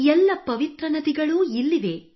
ಎಲ್ಲ ಪವಿತ್ರ ನದಿಗಳೂ ಇಲ್ಲಿವೆ